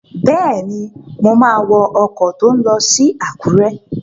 Bẹ́ẹ̀ni, mo máa wọ ọkọ̀ tó n lọ sí Àkúrẹ́